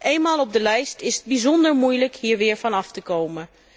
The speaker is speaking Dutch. Eenmaal op de lijst, is het bijzonder moeilijk hier weer vanaf te komen.